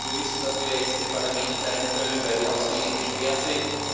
Wir wissen, dass wir jetzt im Parlament bleiben können, weil die Ausgänge gesperrt sind.